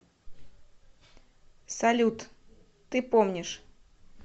салют ты помнишь